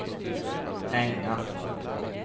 hänga